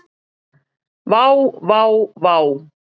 Vá, vá vá.